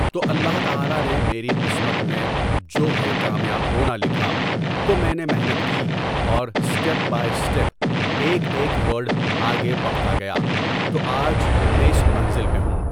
تو اللہ تعالیٰ نے میری قسمت میں جو ہے کامیاب ہونا لکھا تو میں نے محنت کی اور اسٹپ بائے اسٹپ ایک ایک ورڈ آگے بڑھتا گیا تو آج میں اِس منزل پہ ہوں.